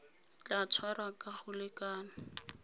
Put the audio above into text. tla tshwarwa ka go lekana